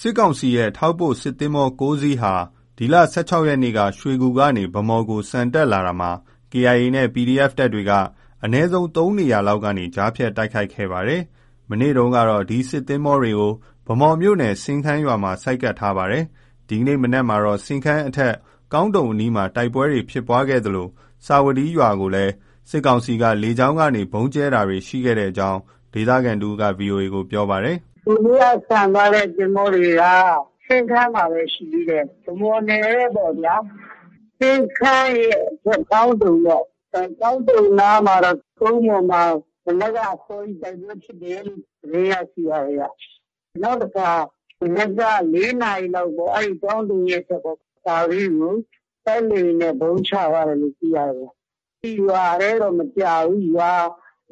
စစ်ကောင်စီရဲ့ ထောက်ပို့စစ်သင်္ဘော ၉ စင်းဟာ ဒီလ ၁၆ ရက်နေ့က ရွှေကူကနေ ဗန်းမော်ကို ဆန်တက်လာရာမှာ KIA နဲ့ PDF တပ်တွေက အနည်းဆုံး ၃ နေရာလောက်ကနေ ကြားဖြတ် တိုက်ခိုက်ခဲ့တာပါ။ မနေ့တုန်းကတော့ ဒီစစ်သင်္ဘောတွေကို ဗန်းမော်မြို့နယ် စင်းခန်းရွာမှာ ဆိုက်ကပ်ထားတာ ဖြစ်ပါတယ်။ ဒီကနေ့ မနက်မှာတော့ စင်းခန်းအထက် ကောင်းတုံအနီးမှာ တိုက်ပွဲဖြစ်ပွားခဲ့သလို စာဝတီးရွာကိုလည်း စစ်ကောင်စီက လေကြောင်းကနေ ဗုံးကြဲတာတွေ ရှိခဲ့ကြောင်း ဒေသခံတစ်ဦးက ဗွီအိုအေကို ပြောပါတယ်။ “ဟိုနေ့က ဆန်သွားတဲ့ သင်္ဘောတွေက စင်းခန်းမှာပဲ ရှိသေးတယ်။ ဗန်းမော်နယ်ထဲပေါ့ဗျာ။ အဲဒီစင်းခန်းရဲ့အထက် ကောင်းတုံပေါ့။ ကောင်းတုံနား မှာတော့ ကုန်းပေါ်မှာ မနက်က အစောကြီး တိုက်ပွဲဖြစ်တယ်လို့ သတင်းရရှိပါတယ်။ နောက်တခါ မနက်က ၄ နာရီလောက်ပေါ့။ အဲဒီ ကောင်းတုံရဲ့ အထက် စာဝတီးကို တိုက်လေယာဉ်နဲ့ ဗုံးချသွားတယ်လို့ သိရတယ်ဗျ။ ရွာထဲတော့ မကျဘူး။ ရွာ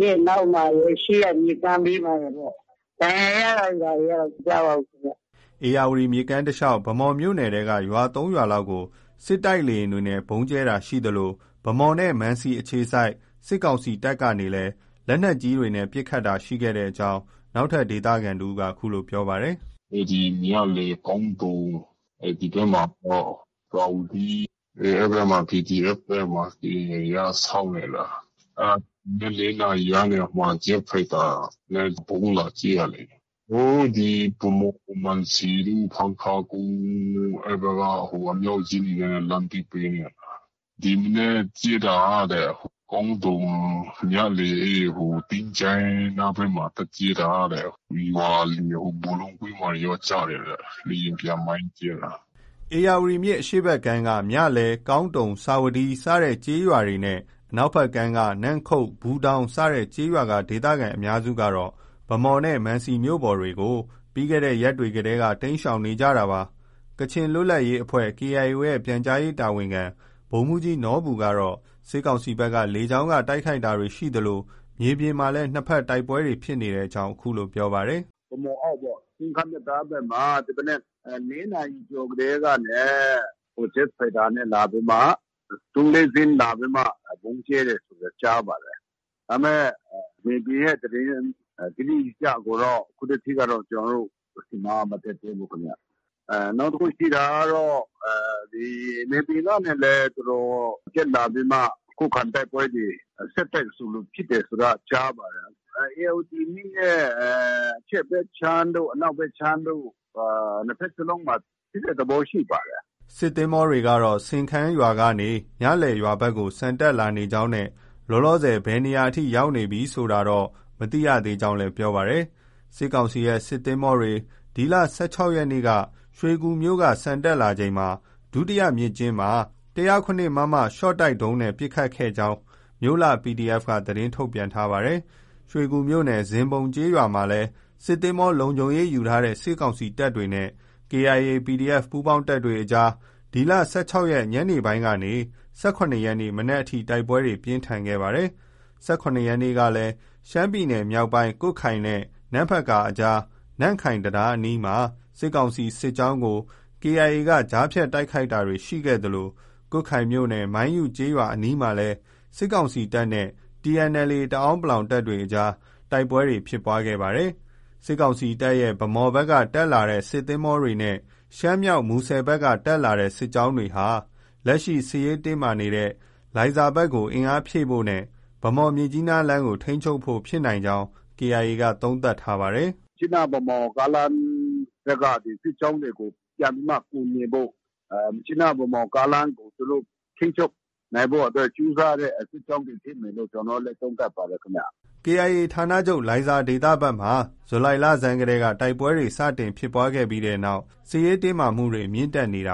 ရဲ့ နောက်မှာတွေနဲ့ ရှေ့က မြစ်ကမ်းဘေးမှာပေါ့။ ဒဏ်ရာရတာတွေ ဘာတွေကတော့ မကြားပါဘူးခင်ဗျ။” ဧရာဝတီ မြစ်ကမ်းတလျှောက် ဗန်းမော်မြို့နယ်ထဲက ရွာ ၃ ရွာလောက်ကို စစ်တိုက်လေယာဉ်နဲ့ ဗုံးကြဲတာ ရှိသလို၊ ဗန်းမော်နဲ့ မံစီ အခြေစိုက် စစ်ကောင်စီ တပ်ကနေလည်း လက်နက်ကြီးနဲ့ ပစ်ခတ်တာတွေ ရှိတဲ့အကြောင်း နောက်ထပ် ဒေသခံတဦးကလည်း ပြောပါတယ်။ “မြလယ်၊ ကောင်းတုံ၊ ဒီဘက်မှာတော့ စာဝတီး အဲဒီဘက်မှာ PDF နဲ့ KIA က စောင့်နေတာ။ အဲဒါ မနက် ၄ နာရီကနေ ဂျက်ဖိုက်တာနဲ့ ဗုံးလာကြဲတာလေ။ ဟိုး ဗန်းမော်၊ မံစီတို့ ၊ ဖန်းခါးကုန်းတို့က အဲဒီဘက်က အမြောက်ကြီးတွေနဲ့ လှမ်းပစ်ပေးနေတာ။ ဒီမနက်ကြဲတာက ကောင်းတုံ၊ မြလယ် သင်္ချိုင်း နားဘက်မှာ သွား ကြဲတာတဲ့။ ရွာလယ် ဘောလုံးကွင်းမှာလည်း ကျတယ်တဲ့။ လေယာဉ်ပျံ မိုင်းကြဲတာ။” ဧရာဝတီမြစ် အရှေ့ဘက်ကမ်းက မြလယ်၊ ကောင်းတုံ၊ စာဝတီး စတဲ့ ကျေးရွာတွေနဲ့ အနောက်ဘက်ကမ်းက နမ့်ခုတ်၊ ဘူးတောင်း စတဲ့ ကျေးရွာက ဒေသခံ အများစုကတော့ ဗန်းမော်နဲ့ မန်စီမြို့ပေါ်တွေကို လွန်ခဲ့တဲ့ ရက်တွေတည်းက တိမ်းရှောင်နေကြတာဖြစ်ပါတယ်။ ကချင်လွတ်လပ်ရေးအဖွဲ့ KIO ရဲ့ ပြန်ကြားရေးတာဝန်ခံ ဗိုလ်မှူးကြီးနော်ဘူကတော့ စစ်ကောင်စီဘက်က လေကြောင်းက တိုက်ခိုက်တာရှိသလို မြေပြင်မှာလည်း နှစ်ဘက် တိုက်ပွဲတွေ ရှိနေကြောင်း ပြောပါတယ်။ “ ဗန်းမော်အောက်ပေါ့။ စင်းခန်းတံတားဘက်မှာ ဒီမနက် ၄ နာရီကျော် ကတည်းကနေ ဂျက်ဖိုက်တာနဲ့ လာပြီးမှ သုံး၊ လေးစင်းလာပြီးမှ ဗုံးကြဲတယ်ဆိုတာ ကြားပါတယ်။ ဒါပေမဲ့ မြေပြင်ရဲ့သတင်း တိတိကျကျကိုတော့ အခုထက်ထိကတော့ ကျနော်တို့ဆီမှာ မတက်သေးဘူးခင်ဗျ။ နောက်တစ်ခု ရှိတာကတော့ မြေပြင်ကနေလည်း သူတို့တက်လာပြီးမှ ခုခံတိုက်ပွဲတွေ ဆက်တိုက်ဆိုသလို ဖြစ်တယ်ဆိုတာ ကြားပါတယ်။ ဧရာဝတီမြစ်ရဲ့ အရှေ့ဘက်ခြမ်းတို့ အနောက်ဘက်ခြမ်းတို့ နှစ်ဘက်စလုံးမှာ ဖြစ်တဲ့သဘော ရှိပါတယ်။” စစ်သင်္ဘောတွေကတော့ စင်းခန်းကနေ မြလယ်ရွာဘက်ကို ဆန်တက်လာနေကြောင်းနဲ့ လောလောဆယ် ဘယ်နေရာအထိ ရောက်နေပြီ ဆိုတာတော့ မသိရသေးကြောင်းလည်း ပြောပါတယ်။ စစ်ကောင်စီရဲ့ စစ်သင်္ဘောတွေ ဒီလ ၁၆ ရက်နေ့က ရွှေကူမြို့က ဆန်တက်လာချိန် ဒုတိယမြစ်ကျဉ်းမှာ ၁၀၇ မမ ရှော့တိုက်ဒုံးနဲ့ ပစ်ခတ် တိုက်ခိုက်ခဲ့ကြောင်း မြို့လှ PDF က သတင်းထုတ်ပြန်ထားပါတယ်။ ရွှေကူမြို့နယ် ဇင်းဘုံရွာ မှာလည်း စစ်သင်္ဘော လုံခြုံရေးယူထားတဲ့ စစ်ကောင်စီတပ်တွေနဲ့ KIA, PDF ပူးပေါင်းတပ်တွေအကြား ဒီလ ၁၆ ရက် ညနေပိုင်းကနေ ၁၇ ရက်နေ့ မနက်အထိ တိုက်ပွဲ ပြင်းထန်ခဲ့ပါတယ်။ ၁၇ ရက်နေ့ကလည်း ရှမ်းပြည်နယ်မြောက်ပိုင်း ကွတ်ခိုင်မြို့နဲ့ နမ့်ဖတ်ကာအကြား နမ့်ခိုင်တံတားအနီးမှာ စစ်ကောင်စီ စစ်ကြောင်းကို KIA က ကြားဖြတ် တိုက်ခိုက်တာတွေ ရှိခဲ့သလို ကွတ်ခိုင်မြို့နယ် မိုင်းယုကျေးရွာ အနီးမှာလည်း စစ်ကောင်စီတပ်နဲ့ TNLA တအန်း(ပလောင်)တပ်တွေ အကြား တိုက်ပွဲဖြစ်ပွားတာတွေ ရှိခဲ့ပါတယ်။ စစ်ကောင်စီတပ်ရဲ့ ဗန်းမော်ဘက်က တက်လာတဲ့ စစ်သင်္ဘောတွေနဲ့ ရှမ်းမြောက် မူဆယ်ဘက်က တက်လာတဲ့ စစ်ကြောင်းတွေဟာ လက်ရှိ စစ်ရေးတင်းမာနေတဲ့ လိုင်ဇာဘက်ကို အင်အားဖြည့်တင်းဖို့နဲ ဗန်းမော်-မြစ်ကြီးနားလမ်းကို ထိန်းချုပ်ဖို့ဖြစ်နိုင်ကြောင်း KIO က သုံးသပ်ထားပါတယ်။ “ မြစ်ကြီးနား- ဗန်းမော်ကားလမ်းဘက်က စစ်ကြောင်းတွေကို ပြန်ပြီးမှ ကူညီဖို့၊ မြစ်ကြီးနား- ဗန်းမော်ကားလမ်းကို သူတို့ ထိန်းချုပ်နိုင်ဖို့အတွက် သူတို့ ကြိုးစားတဲ့ စစ်ကြောင်းတွေ ဖြစ်မယ်လို့ ကျနော်တို့လည်း သုံးသပ်ပါတယ် ခင်ဗျ။” KIA ဌာနချုပ် လိုင်ဇာဒေသဘက်မှာ ဇူလိုင်လဆန်းကတည်းက တိုက်ပွဲတွေ စတင်ဖြစ်ခဲ့ပြီးနောက် စစ်ရေးတင်းမာမှုတွေ မြင့်တက်လာနေတာ